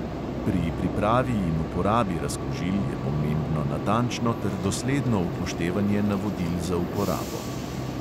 Pri pripravi in uporabi razkužil je pomembno natančno ter dosledno upoštevanje navodil za uporabo.